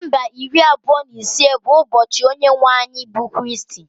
Disemba iri abụọ na ise bụ ụbọchị onye nwe anyị bụ Kristi